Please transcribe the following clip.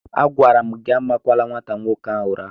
Agwara m gị amakwala nwata nwoke ahụ ụra!